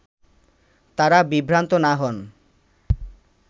তারা বিভ্রান্ত না হন